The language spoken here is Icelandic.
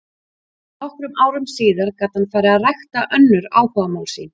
Nokkrum árum síðar gat hann farið að rækta önnur áhugamál sín.